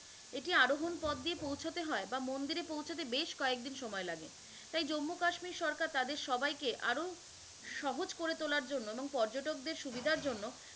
এটি আরোভন পথ দিয়ে পৌছতে হয় বা মন্দিরে পৌছাতে বেশ কয়েক দিন সময় লাগে, তাই জম্মু-কাশ্মীর সরকার তাদেকে আরো সহজ করে তোলার জন্য এবং পর্যটকদের সুবিধার জন্য